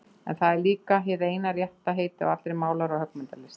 En það er líka hið eina rétta heiti á allri málara- og höggmyndalist.